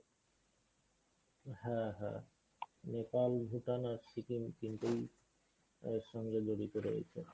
হ্যাঁ হ্যাঁ নেপাল, ভূটান আর সিকিম তিনটেই এর সঙ্গে জড়িত রয়েছে।